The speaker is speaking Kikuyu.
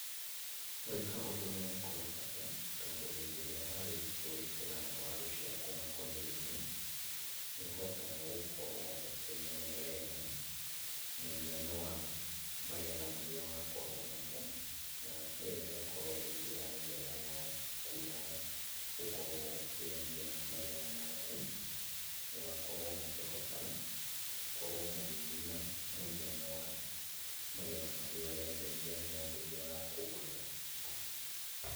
Gwĩka ũndũ ũyũ nĩ kũrĩ bata tondũ hĩndĩ ĩrĩa warĩkia gwĩkĩra waru ciaku makũnia-inĩ, nĩũhotaga gũkorwo ũkĩmenya wega mũigana wa magetha marĩa wakorwo namo, na ĩyo ĩgakorwo ĩ njĩra njega yaku ya gũkorwo ũkĩendia magetha maku. Mũgakorwo mũkĩhota gũkorwo mũgĩthima mũigana wa magetha marĩa ũrenderia mũndũ ũrĩa ũrakũgũrĩra.